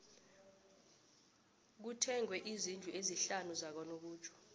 kuthengwe izndlu ezisihlanu zakanobutjho